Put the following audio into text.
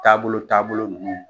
Taabolo taabolo nunnu